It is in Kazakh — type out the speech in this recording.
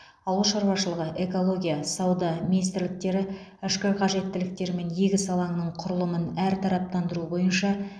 ауыл шаруашылығы экология сауда министрліктері ішкі қажеттіліктер мен егіс алаңының құрылымын әртараптандыру бойынша